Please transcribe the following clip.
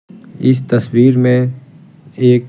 इस तस्वीर में एक--